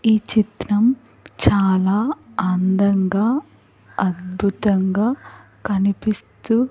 ఈ చిత్రం చాలా అందంగా అద్భుతంగా కనిపిస్తూ.